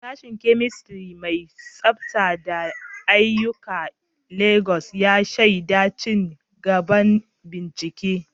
Sashen Chemistry mai tsafta da aiyuka a Legas ya shaida ci gaban bincike.